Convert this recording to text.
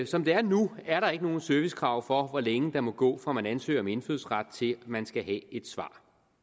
som det er nu er der ikke nogen servicekrav for hvor længe der må gå fra man ansøger om indfødsret til man skal have et svar